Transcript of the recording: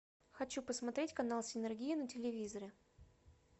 хочу посмотреть канал синерги на телевизоре